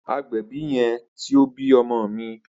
Agbẹbi yẹn ti o bi ọmọ mi.